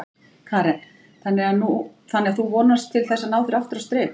Karen: Þannig að þú vonast til þess að ná þér aftur á strik?